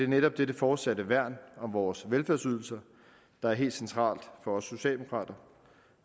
netop dette fortsatte værn om vores velfærdsydelser der er helt centralt for os socialdemokrater